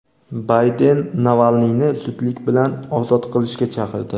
Bayden Navalniyni zudlik bilan ozod qilishga chaqirdi.